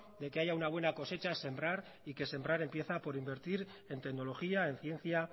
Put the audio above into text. de que haya una buena cosecha es sembrar y que sembrar empieza por invertir en tecnología en ciencia